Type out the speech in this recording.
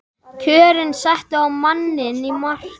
Kjörin settu á manninn mark